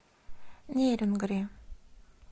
нерюнгри